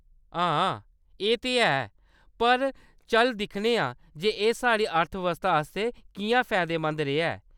हाहा, एह् ते है, पर चल दिक्खने आं जे एह्‌‌ साढ़ी अर्थ व्यवस्था आस्तै किʼयां फैदेमंद रेहा ऐ!